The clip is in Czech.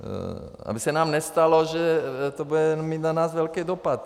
Aby se nám nestalo, že to bude mít na nás velký dopad.